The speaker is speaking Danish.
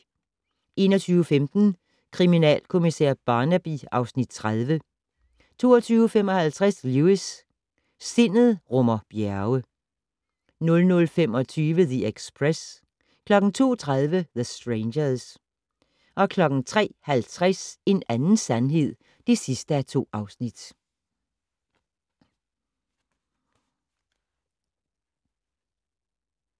21:15: Kriminalkommissær Barnaby (Afs. 30) 22:55: Lewis: Sindet rummer bjerge 00:25: The Express 02:30: The Strangers 03:50: En anden sandhed (2:2)